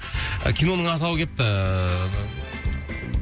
киноның атауы келіпті